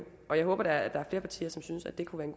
og jeg håber da at der er flere partier der synes at det kunne